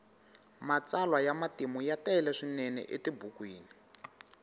matsalwa ya matimu ya tele swinene etibukwini